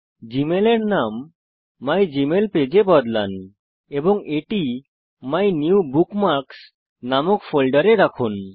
Gmail এর নাম my Gmail page এ বদলান এবং এটি মিনিউবুকমার্কসহ নামক নতুন ফোল্ডারে রাখুন